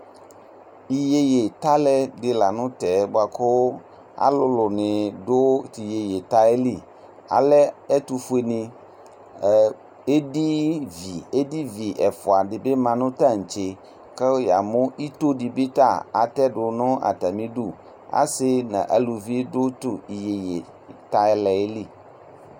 Iyeye talɛ dilanu tɛ alulu dini du iyeye talɛ yɛ li ɛtu fue ni edivini ya nu ayili tantse asi nu uluvini bi du ayili